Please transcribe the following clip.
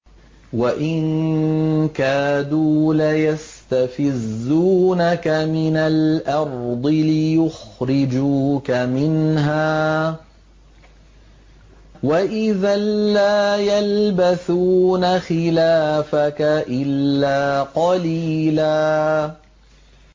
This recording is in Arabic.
وَإِن كَادُوا لَيَسْتَفِزُّونَكَ مِنَ الْأَرْضِ لِيُخْرِجُوكَ مِنْهَا ۖ وَإِذًا لَّا يَلْبَثُونَ خِلَافَكَ إِلَّا قَلِيلًا